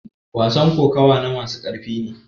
wasan kokawa na masu ƙarfi ne